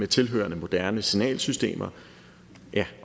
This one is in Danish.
tilhørende moderne signalsystemer